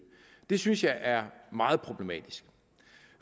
det synes jeg er meget problematisk